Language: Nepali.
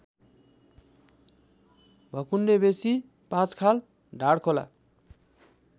भकुण्डेवेसी पाँचखाल ढाँडखोला